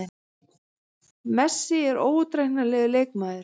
Messi er óútreiknanlegur leikmaður.